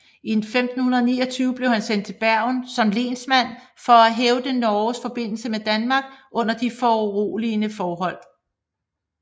I 1529 blev han sendt til Bergen som lensmand for at hævde Norges forbindelse med Danmark under de urolige forhold